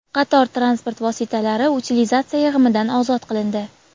Qator transport vositalari utilizatsiya yig‘imidan ozod qilindi.